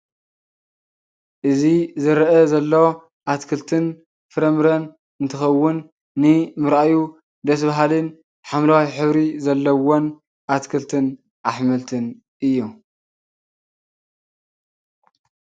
እዚ ዝረአ ዘሎ አትክልትን ፍራምረን እንትኸውን ንምርአዩ ደስ በሃልን ሓምለዋይ ሕብሪ ዘለዎም አትክልትን አሕምልትን እዮም።